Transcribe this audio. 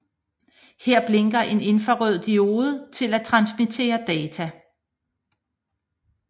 Her blinker en infrarød diode til at transmittere data